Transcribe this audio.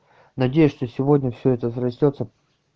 надеюсь что сегодня все это срастётся